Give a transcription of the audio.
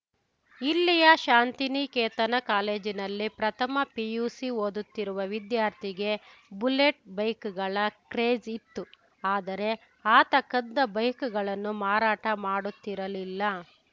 ಇಲ್ಲಿಯ ಶಾಂತಿನಿಕೇತನ ಕಾಲೇಜಿನಲ್ಲಿ ಪ್ರಥಮ ಪಿಯುಸಿ ಓದುತ್ತಿರುವ ವಿದ್ಯಾರ್ಥಿಗೆ ಬುಲೆಟ್‌ ಬೈಕ್‌ಗಳ ಕ್ರೇಜ್‌ ಇತ್ತು ಆದರೆ ಆತ ಕದ್ದ ಬೈಕ್‌ಗಳನ್ನು ಮಾರಾಟ ಮಾಡುತ್ತಿರಲಿಲ್ಲ